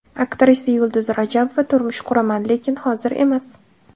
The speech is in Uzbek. Aktrisa Yulduz Rajabova: Turmush quraman, lekin hozir emas.